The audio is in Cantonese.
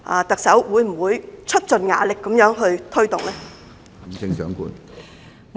特首，會不會出盡"牙力"推動呢？